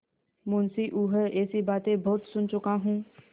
मुंशीऊँह ऐसी बातें बहुत सुन चुका हूँ